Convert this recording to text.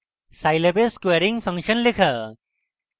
scilab a squaring function লেখা